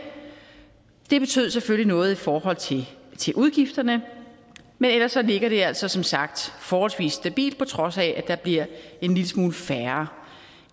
det betød selvfølgelig noget i forhold til udgifterne men ellers ligger det altså som sagt forholdsvis stabilt på trods af at der bliver en lille smule færre